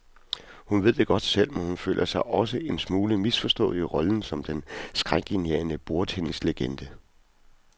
Hun ved det godt selv, men hun føler sig også en smule misforstået i rollen som den skrækindjagende bordtennislegende.